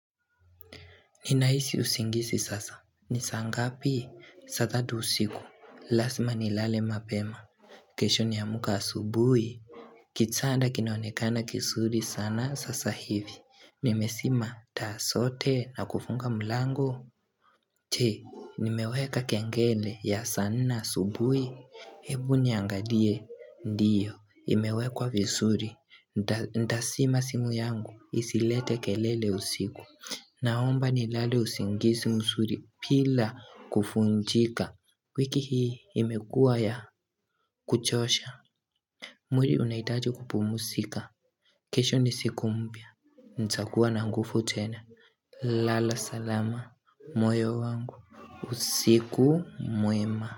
Ninahisi usingizi sasa, ni saa ngapi, saa tatu usiku, lazima nilale mapema, kesho niamke asubuhi, kitanda kinaonekana kizuri sana sasa hivi, nimezima taa zote na kufunga mlango, je, nimeweka kengele ya saa nne asubuhi, Ebu niangalie, ndiyo, imewekwa vizuri Ntazima simu yangu, isilete kelele usiku Naomba nilale usingisi mzuri bila kuvunjika wiki hii imekua ya kuchosha mwili unahitaji kupumuzika kesho ni siku mpya, nitakua na nguvu tena lala salama, moyo wangu, usiku mwema.